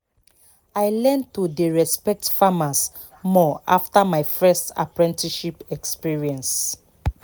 i learn to dey respect farmers more after my first apprenticeship experience